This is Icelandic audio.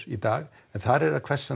í dag en þar er að hvessa